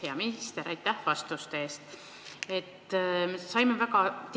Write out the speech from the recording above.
Hea minister, aitäh vastuste eest!